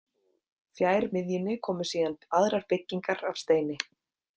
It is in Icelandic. Fjær miðjunni komu síðan aðrar byggingar af steini.